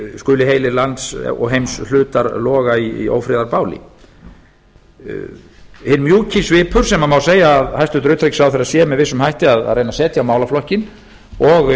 skuli heilir lands og heimshlutar loga í ófriðarbáli hinn mjúki svipur sem má segja að hæstvirtur utanríkisráðherra sé með vissum hætti að reyna að setja á málaflokkinn og